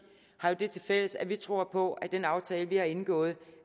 har jo det tilfælles at vi tror på at den aftale vi har indgået